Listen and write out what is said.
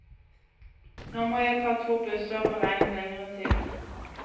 Nå må jeg ta to busser og beregne lengre tid.